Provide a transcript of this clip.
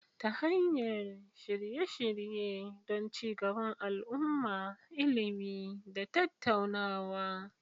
ta hanyar shirye-shirye don ci gaban al'umma, ilimi, da tattaunawa.